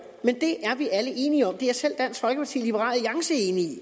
men det er vi alle enige om det er selv dansk folkeparti og alliance enige i